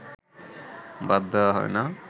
বাদ দেওয়া হয় না